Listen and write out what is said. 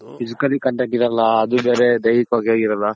physically contact ಇರಲ್ಲ ಅದು ಬೇರೆ ದೈಹಿಕವಾಗೆ ಇರಲ್ಲ